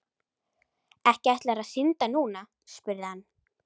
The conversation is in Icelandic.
Ekki ætlarðu að synda núna? spurði hann.